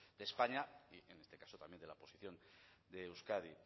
de españa y en este caso también de la posición de euskadi